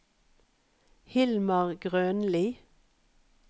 Hilmar Grønli